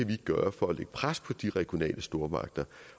kan gøre for at lægge pres på de regionale stormagter